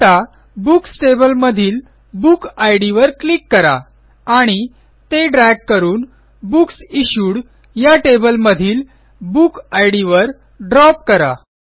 आता बुक्स टेबलमधील book ID वर क्लिक करा आणि ते ड्रॅग करून बुक्स इश्यूड या टेबलमधील बुक इद वर ड्रॉप करा